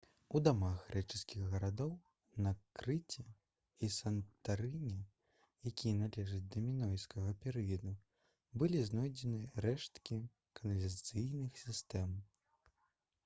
у дамах грэчаскіх гарадоў на крыце і сантарыне якія належаць да мінойскага перыяду былі знойдзены рэшткі каналізацыйных сістэм